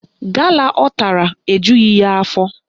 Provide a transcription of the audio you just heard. Gala ọ tara ejughị ya afọ